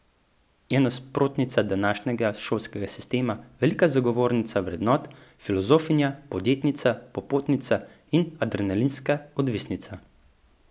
Je nasprotnica današnjega šolskega sistema, velika zagovornica vrednot, filozofinja, podjetnica, popotnica in adrenalinska odvisnica.